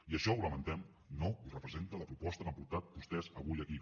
i això ho lamentem no ho representa la proposta que han portat vostès avui aquí